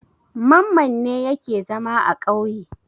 Mamman ne yake zama a ƙauye.